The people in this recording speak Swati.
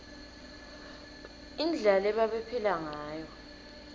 indlela lebabephila ngayo